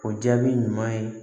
O jaabi ɲuman ye